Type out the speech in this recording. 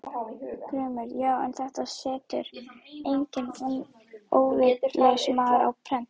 GRÍMUR: Já, en þetta setur enginn óvitlaus maður á prent.